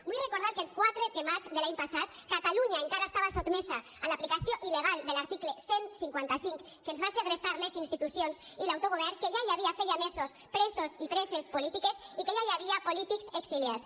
vull recordar que el quatre de maig de l’any passat catalunya encara estava sotmesa a l’aplicació il·legal de l’article cent i cinquanta cinc que ens va segrestar les institucions i l’autogovern que ja hi havia feia mesos presos i preses polítiques i que ja hi havia polítics exiliats